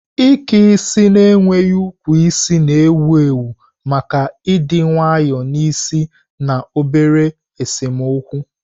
Ike isi na-enweghị ukwu isi na-ewu ewu maka ịdị nwayọọ n'isi na obere esemokwu.